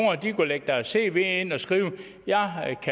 kunne lægge deres cv ind og skrive